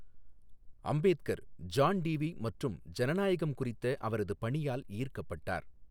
Ambedkar, John Dewey மற்றும் ஜனநாயகம் குறித்த அவரது பணியால் ஈர்க்கப்பட்டார்.